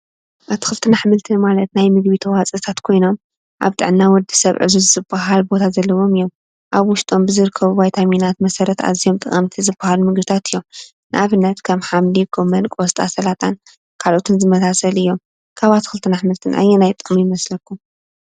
ኣትክልትን ኣሕምልትን ማለት ናይ ምግቢ ተዋፅኦታት ኮይኖም ኣብ ጥዕና ወዲሰብ ዕዙዝ ዝበሃል ቦታ ዘለዎም እዮም ። ኣብ ውሽጦም ብዝርከቡ ቫይታሚናት መሰረት ኣዝዮም ጠቀምቲ ዝበሃሉ ምግብታት እዮም። ንኣብነት ከም ሓምሊ፣ ጎመን ቆስጣ ፣ስላጣ ካልኦትን ዝመሳሰሉ እዮም ።ካብ ኣትክልትን ኣሕምልትን ኣየናይ ጥዑም ይመስለኩም?